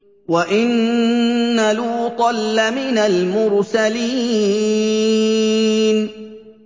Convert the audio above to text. وَإِنَّ لُوطًا لَّمِنَ الْمُرْسَلِينَ